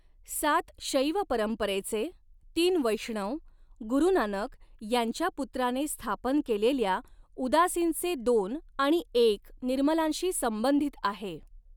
सात शैव परंपरेचे, तीन वैष्णव, गुरु नानक यांच्या पुत्राने स्थापन केलेल्या उदासींचे दोन आणि एक निर्मलांशी संबंधित आहे.